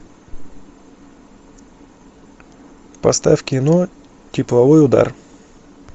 поставь кино тепловой удар